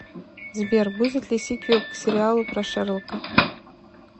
сбер будет ли сиквел к сериалу про шерлока